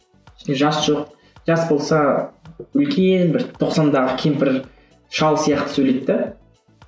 ішінде жас жоқ жас болса үлкен бір тоқсандағы кемпір шал сияқты сөйлейді де